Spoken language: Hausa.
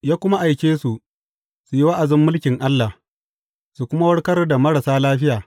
Ya kuma aike su, su yi wa’azin mulkin Allah, su kuma warkar da marasa lafiya.